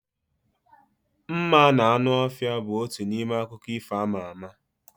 Mma na anụ ọhịa bụ otu n'ime akụkọ ifo ama ama